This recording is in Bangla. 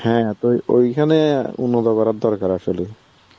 হ্যাঁ তো ওইখানে উন্নত করার দরকার ছিল